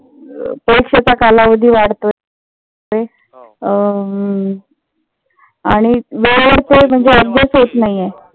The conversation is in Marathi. परीक्षेचा कालावधी वाढतोय. अं आणि वेळेवर तो म्हणजे अभ्यास होत नाहीये.